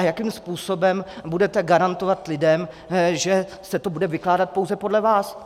A jakým způsobem budete garantovat lidem, že se to bude vykládat pouze podle vás?